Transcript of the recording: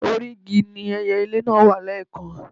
Orí igi ni ẹyelé náà wà lẹ́ẹ̀kan